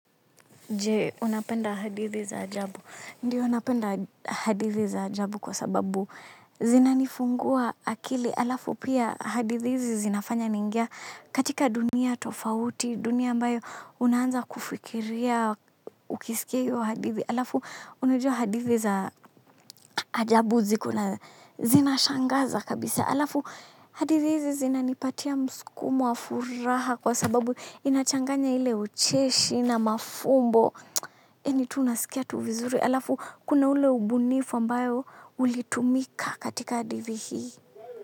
Je, unapenda hadithi za ajabu. Ndiyo napenda hadithi za ajabu kwa sababu zinanifungua akili. Alafu pia hadithi zinafanya niingie katika dunia tofauti, dunia ambayo unaanza kufikiria ukisikia hiyo hadithi. Alafu unajua hadithi za ajabu zinashangaza kabisa. Alafu hadithi hizi zinanipatia msukumo wa furaha kwa sababu inachanganya ile ucheshi na mafumbo. Yaani tu unasikia tu vizuri, alafu kuna ule ubunifu ambayo ulitumika katika hadithi hii.